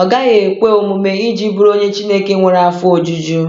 ọ gaghị ekwe omume iji bụrụ onye Chineke nwere afọ ojuju.”